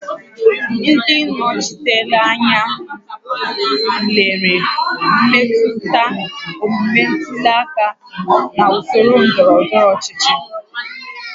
Ndị nnọchiteanya tụlere mmetụta omume ntuli aka na usoro ndọrọ ndọrọ ọchịchị